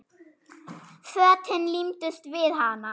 Fötin límdust við hana.